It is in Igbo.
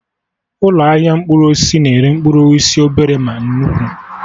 Ụlọ ahịa mkpụrụ osisi na-ere mkpụrụ osisi obere ma nnukwu